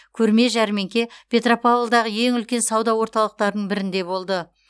көрме жәрмеңке петропавлдағы ең үлкен сауда орталықтарының бірінде болды